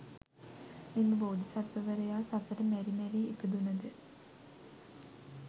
මෙම බෝධිසත්වවරයා සසර මැරි මැරී ඉපදුනද